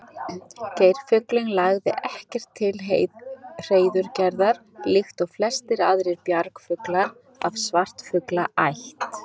Geirfuglinn lagði ekkert til hreiðurgerðar líkt og flestir aðrir bjargfuglar af svartfuglaætt.